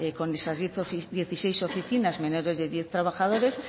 con esas dieciséis oficinas menos de diez trabajadores